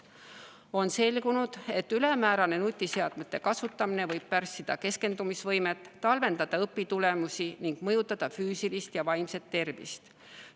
On selgunud, et ülemäärane nutiseadmete kasutamine võib pärssida keskendumisvõimet, halvendada õpitulemusi ning mõjutada füüsilist ja vaimset tervist.